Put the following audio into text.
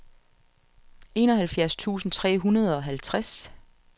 enoghalvfjerds tusind tre hundrede og halvtreds